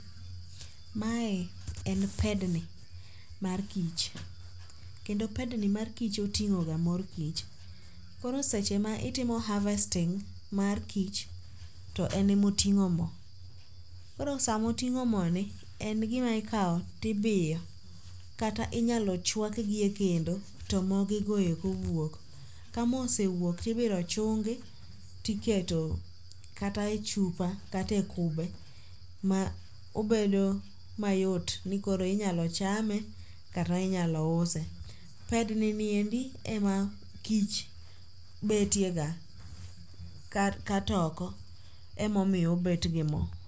Mae en pedni mar kich. Kendo pedni mar kich oting'o ga mor kich. Koro seche ma itimo harvesting mar kich, to en e moting'o mo. Koro sama oting'o mo ni. En gima ikawo tibiyo. Kata inyalo chwakgi e kendo to mo gi goeko wuok. Ka mo osewuok tibiro chungi tiketo kata e chupa kata e kube ma obedo mayot ni koro inyalo chame kata inyalo use. Pedni ni endi e ma kich betie ga katoko e momiyo obet gi mo.